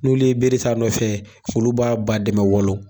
N'olu ye bere ta nɔfɛ, olu b'a ba dɛmɛ walo.